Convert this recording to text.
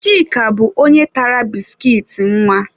Chika bụ onye tara biskit nwa.